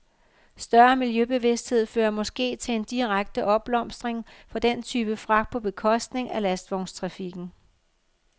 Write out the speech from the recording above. Større miljøbevidsthed fører måske til en direkte opblomstring for den type fragt på bekostning af lastvognstrafikken.